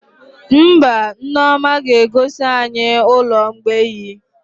Mba, Nneoma ga-egosi anyị ụlọ mgbei